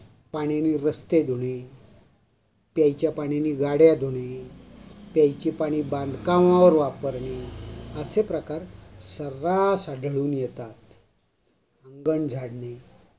पाण्याने रास्ते धुणे, प्यायच्या पाण्याने गाड्या धुणे, प्यायचे पाणी बांधकामावर वापरने असे प्रकार सर्रास आढळून येतात. आंगण झाडणे,